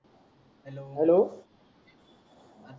hello